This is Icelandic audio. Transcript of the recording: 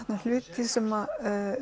hluti sem